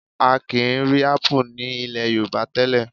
A kì í rí ápù ní ilẹ̀ Yorùbá tẹ́lẹ̀